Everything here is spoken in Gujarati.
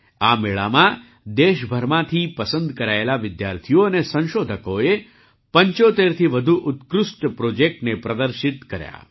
આ મેળામાં દેશભરમાંથી પસંદ કરાયેલા વિદ્યાર્થીઓ અને સંશોધકોએ ૭૫થી વધુ ઉત્કૃષ્ટ પ્રૉજેક્ટને પ્રદર્શિત કર્યા